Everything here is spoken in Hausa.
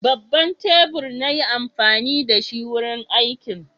Babban tebur na yi amfani da shi wurin aikin.